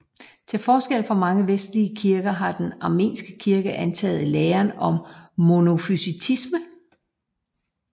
Til forskel fra mange vestlige kirker har den armenske kirke antaget læren om monofysitisme